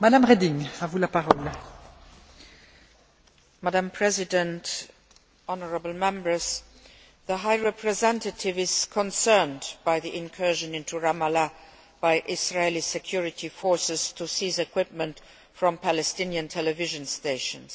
Madam President, Honourable Members, the High Representative is concerned by the incursion into Ramallah by Israeli security forces to seize equipment from the Palestinian television stations.